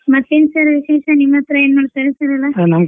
ಮತ್ತೇನ್ sir ವಿಶೇಷ ನಿಮ್ಮ್ ಹತ್ರ ಹೇಗ್ ಮಾಡ್ತಾರ್ ಎಲ್ಲಾ .